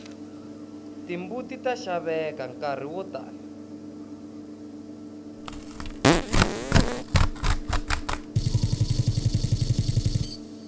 timbuti ta xaveka nkarhi wo tani